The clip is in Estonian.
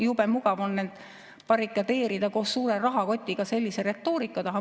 Jube mugav on ennast koos suure rahakotiga barrikadeerida sellise retoorika taha.